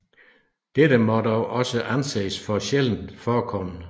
Dette må dog også anses som sjældent forekommende